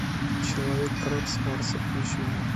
человек краб с марса включи мне